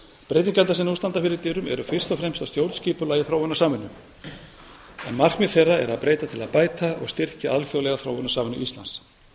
breytingarnar sem nú standa fyrir dyrum eru fyrst og fremst á stjórnskipulagi þróunarsamvinnu en markmið þeirra er að breyta til að bæta og styrkja alþjóðlega þróunarsamvinnu íslands